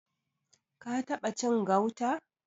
Ka taɓa cin gauta?